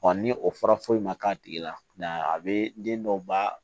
ni o fɔra foyi ma k'a tigi la a bɛ den dɔw ba